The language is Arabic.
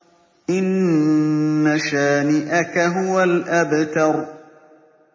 إِنَّ شَانِئَكَ هُوَ الْأَبْتَرُ